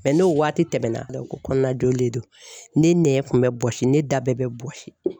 n'o waati tɛmɛna ko kɔnɔna joli de don, ne nɛn kun bɛ bɔsi, ne da bɛɛ bɛ bɔsi.